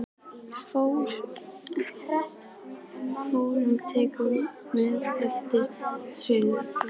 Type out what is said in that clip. fornmuni, tennisklúbbinn, vatnslitamyndir eftir óþekkta listamenn, veggteppi eftir óþekkta listamenn.